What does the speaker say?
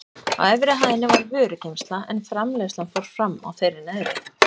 Á efri hæðinni var vörugeymsla en framleiðslan fór fram á þeirri neðri.